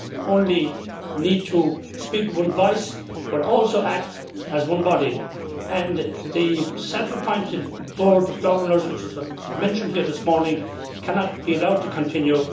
only need to speak with one voice but also act as one body the self appointed board of governors which was mentioned here this morning cannot be allowed to continue.